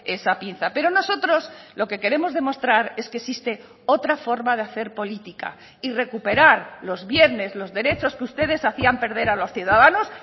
esa pinza pero nosotros lo que queremos demostrar es que existe otra forma de hacer política y recuperar los viernes los derechos que ustedes hacían perder a los ciudadanos